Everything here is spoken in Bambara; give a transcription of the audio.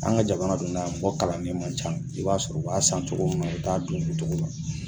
An ka jamana dun na mɔgɔ kalan man ca i b'a sɔrɔ o b'a san cogo min na o bɛ taa a dun o cogo la